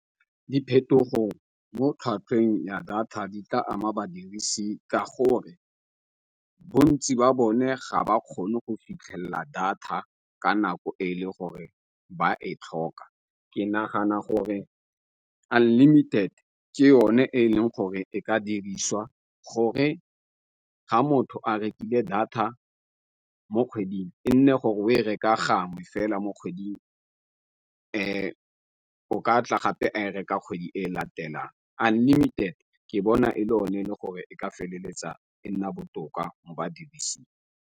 Diphetogo mo tlhwatlhwang ya data di tla ama badirisi ka gore bontsi ba bone ga ba kgone go fitlhelela data ka nako e le gore ba e tlhoka. Ke nagana gore unlimited ke yone e leng gore e ka diriswa gore ga motho a rekile data mo kgweding e nne gore o e reka gangwe fela mo kgweding, o ka tla gape a e reka kgwedi e latelang. Unlimited ke bona e le o ne le gore e ka feleletsa e nna botoka mo badirising.